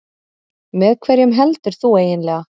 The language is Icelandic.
Með hverjum heldur þú eiginlega?